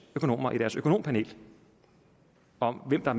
økonomer i deres økonompanel om hvem der